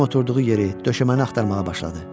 Dəli kimi oturduğu yeri döşəməni axtarmağa başladı.